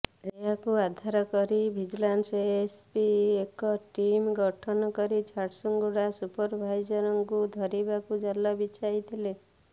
ଏହାକୁ ଆଧାର କରି ଭିଜିଲାନ୍ସ ଏସପି ଏକ ଟିମ ଗଠନ କରି ଝାରସୁଗୁଡା ସୁପରଭାଇଜରଙ୍କୁ ଧରିବାକୁ ଜାଲ ବିଛାଇଥିଲେ